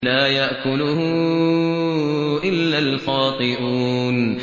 لَّا يَأْكُلُهُ إِلَّا الْخَاطِئُونَ